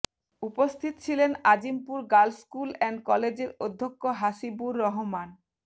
উপস্থিত ছিলেন Azimpur girls school and কলেজের অধ্যক্ষ হাসিবুর রহমান